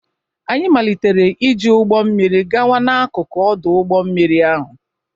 Anyị malitere iji ụgbọ mmiri gawa n'akụkụ ọdụ ụgbọ mmiri ahụ.